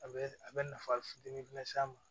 A bɛ a bɛ nafa fitinin s'a ma